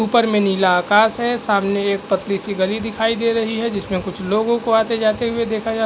उपर में नीला आकश है। सामने एक पतली सी गली दिखाई दे रही है जिसमें कुछ लोगों को भी आते जाते देखा जा --